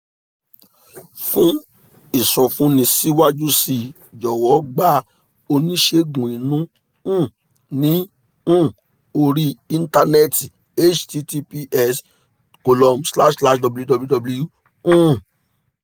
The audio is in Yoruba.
fún ìsọfúnni síwájú sí i jọ̀wọ́ gba oníṣègùn inú um ní um orí íńtánẹ́ẹ̀tì https column slash slash www um